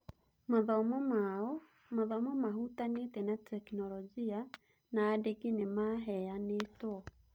Mathomo mao, mathomo mahutanĩtie na tekinoronjĩ, na andĩki nĩmaheyanĩtwo.